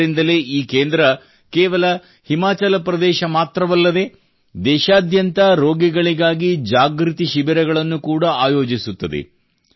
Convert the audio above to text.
ಆದ್ದರಿಂದಲೇ ಈ ಕೇಂದ್ರವು ಕೇವಲ ಹಿಮಾಚಲ ಪ್ರದೇಶ ಮಾತ್ರವಲ್ಲದೇ ದೇಶಾದ್ಯಂತ ರೋಗಿಗಳಿಗಾಗಿ ಜಾಗೃತಿ ಶಿಬಿರಗಳನ್ನು ಕೂಡಾ ಆಯೋಜಿಸುತ್ತದೆ